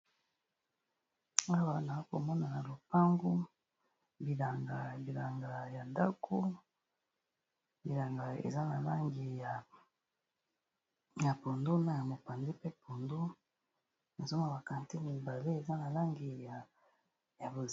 Awa nako mona na lopangu bilanga ya ndaku , bilanga eza na langi ya pondu na ya mopanzi pe pondu nazo mo na ba catine mibale eza na langi ya bleue..